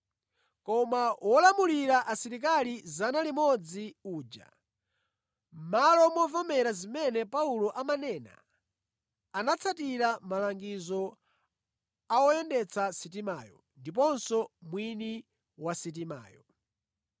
Koma wolamulira asilikali 100 uja, mʼmalo momvera zimene Paulo amanena, anatsatira malangizo a woyendetsa sitimayo ndiponso mwini wa sitimayo.